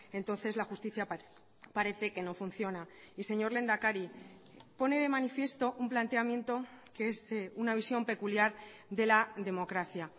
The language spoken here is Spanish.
entonces la justicia parece que no funciona y señor lehendakari pone de manifiesto un planteamiento que es una visión peculiar de la democracia